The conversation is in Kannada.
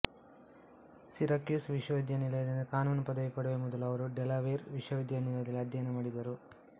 ಸಿರಾಕ್ಯೂಸ್ ವಿಶ್ವವಿದ್ಯಾಲಯದಿಂದ ಕಾನೂನು ಪದವಿ ಪಡೆಯುವ ಮೊದಲು ಅವರು ಡೆಲವೇರ್ ವಿಶ್ವವಿದ್ಯಾಲಯದಲ್ಲಿ ಅಧ್ಯಯನ ಮಾಡಿದರು